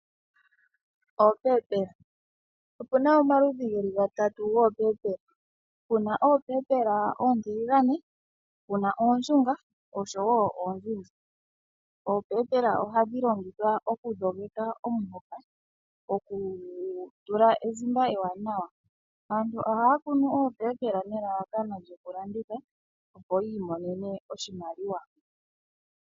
Oopepela Opuna omaludhi gatatu goopepela, puna oontiligane, puna ooshunga oshowo oonzinzi. Oopepela ohadhi longithwa oku dhogeka omuhoka, oku gu tula ezimba ewaanawa. Aantu ohaya kunu oopepela nelalakano lyoku landitha, opo yi imonene oshimaliwa.